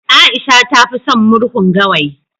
Aisha ta fi son murhun gawayi